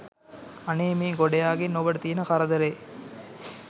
අනේ මේ ගොඩයාගෙන් ඔබට තිබෙන කරදරේ!